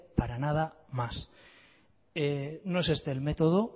para nada más no es este el método